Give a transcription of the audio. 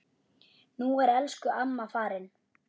Nú er elsku amma farin.